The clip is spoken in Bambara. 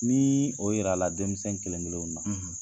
Nii o yirala denmisɛn kelen-kelenw na